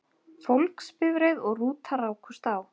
Fólksbifreið og rúta rákust á